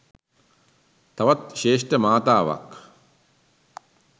තවත් ශ්‍රේෂ්ඨ මාතාවක්.